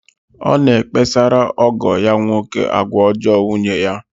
Ọ na-ekpesara ọgọ ya nwoke agwa ọjọọ nwunye.